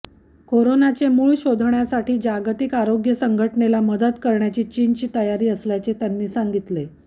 करोनाचे मूळ शोधण्यासाठी जागतिक आरोग्य संघटनेला मदत करण्यासाठी चीनची तयारी असल्याचे त्यांनी सांगितले